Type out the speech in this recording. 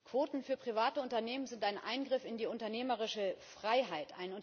Quoten für private Unternehmen sind ein Eingriff in die unternehmerische Freiheit.